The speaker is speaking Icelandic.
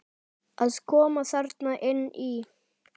Að koma þarna inn í?